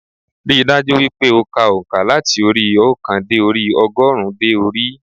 Rí i dájú wípé o ka ònkà láti orí óòkan dé orí ogórùn ún dé orí i